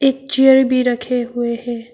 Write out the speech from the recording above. एक चेयर भी रखे हुए हैं।